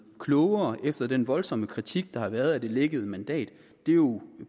klogere efter den voldsomme kritik der har været af det lækkede mandat det er jo